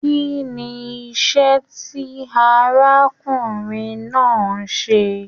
Kínní iṣẹ tí arákùnrin náà n ṣe?